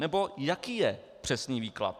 Nebo, jaký je přesný výklad.